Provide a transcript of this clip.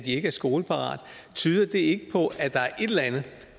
ikke er skoleparate tyder det så ikke på at der